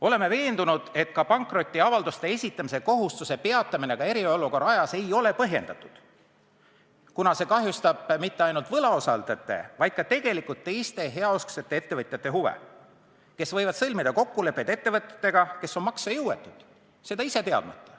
Oleme veendunud, et ka pankrotiavalduste esitamise kohustuse peatamine eriolukorra ajaks ei ole põhjendatud, kuna see ei kahjusta mitte ainult võlausaldajate, vaid ka teiste heausksete ettevõtjate huve, kes võivad enda teadmata sõlmida kokkuleppeid ettevõtjatega, kes on maksejõuetud.